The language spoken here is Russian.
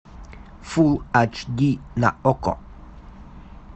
фул ач ди на окко